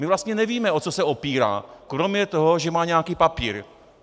My vlastně nevíme, o co se opírá, kromě toho, že má nějaký papír.